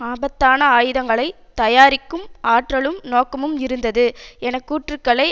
ஆபத்தான ஆயுதங்களை தயாரிக்கும் ஆற்றலும் நோக்கமும் இருந்தது என கூற்றுக்களை